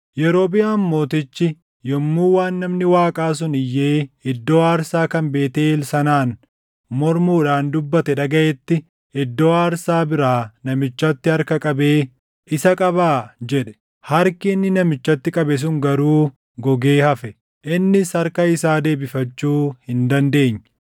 Yerobiʼaam mootichi yommuu waan namni Waaqaa sun iyyee iddoo aarsaa kan Beetʼeel sanaan mormuudhaan dubbate dhagaʼetti iddoo aarsaa biraa namichatti harka qabee, “Isa qabaa!” jedhe. Harki inni namichatti qabe sun garuu gogee hafe; innis harka isaa deebifachuu hin dandeenye.